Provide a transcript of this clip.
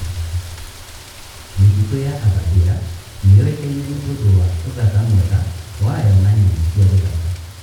Mĩtitũ ya Aberdare nĩ yũĩkaine nĩ ũndũ wa ũthaka mwega wayo na nyamũ cia gĩthaka.